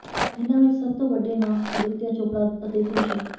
ਇਨ੍ਹਾਂ ਵਿਚ ਸਭ ਤੋਂ ਵੱਡੇ ਨਾਂ ਆਦਿਤਿਆ ਚੋਪੜਾ ਅਤੇ ਭੂਸ਼ਣ